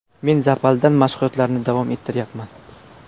Men zalda mashg‘ulotlarni davom ettiryapman.